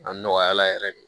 A nɔgɔya la yɛrɛ de